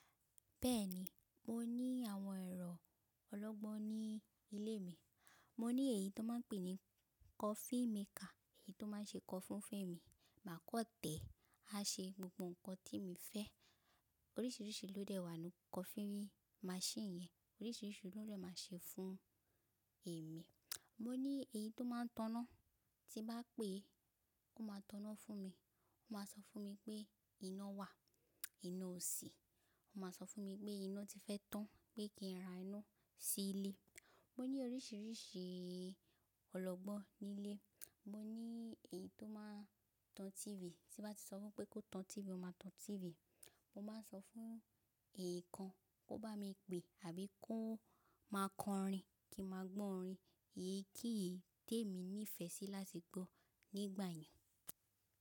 Bẹ́ẹ̀ni, mo ní àwọn ẹ̀rọ ọlọ́gbọ́n ní ilé mi. Mo ní èyí tó máa ń pè ní coffee maker, èyí tó máa ń ṣe coffee fún mi. Mà kọ̀ tẹ̀, a ṣe gbogbo ǹkan tí mo fẹ́. Oríṣiríṣi lódẹ̀ wá nu coffee machine yẹn, oríṣiríṣi ló dẹ̀ máa ṣe fún èmi. Mo ní èyí tó máa ń tan iná, tí bá pè, ó máa tan iná fún mi. Ó máa sọ fún mi pé iná wà, iná ò sí. Ó máa sọ fún mi pé iná ti fẹ́ tán pé kí n ra iná sí ilé. Mo ní oríṣiríṣi ọlọ́gbọ́n nílé. Mo ní èyí tó máa ń tan TV, tí bá ti sọ fún pé kó tan TV, ó máa tan TV. Mo máa ń sọ fún èyi kan kó bá mi pè àbí kó máa kọ orin kí n máa gbọ́ orin. Èyí kí èyí tó èmi nífẹ̀ẹ́ sí láti gbọ́ nígbà yẹn.